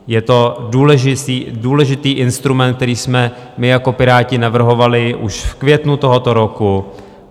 Je to důležitý instrument, který jsme my jako Piráti navrhovali už v květnu tohoto roku.